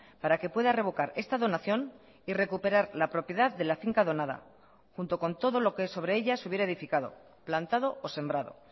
para que pueda revocar esta donación y recuperar la propiedad de la finca donada junto con todo lo que sobre ella se hubiera edificado plantado o sembrado